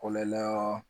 Kɔlɔla